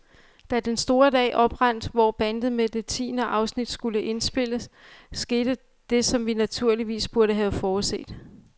Da den store dag oprandt, hvor båndet med det tiende afsnit skulle afspilles, skete der det, som vi naturligvis burde have forudset.